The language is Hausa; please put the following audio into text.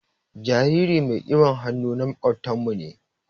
Jaririn mai kiɓan hannu na makobtan mu ne.